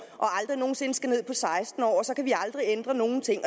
og aldrig nogen sinde skal ned på seksten år og så kan vi aldrig ændre nogen ting